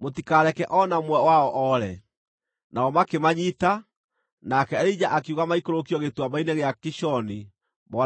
Mũtikareke o na ũmwe wao oore!” Nao makĩmanyiita, nake Elija akiuga maikũrũkio gĩtuamba-inĩ gĩa Kishoni mooragĩrwo kuo.